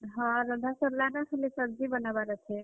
ହଁ, ରନ୍ଧା ସରଲା ନ, ଖାଲି सब्जी ବନାବାର୍ ଅଛେ।